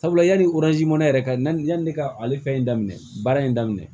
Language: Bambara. Sabula yanni mɛnɛ yɛrɛ ka na yanni ne ka ale fɛn in daminɛ baara in daminɛ